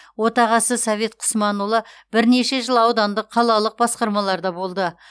отағасы совет құсманұлы бірнеше жыл аудандық қалалық басқармаларда болды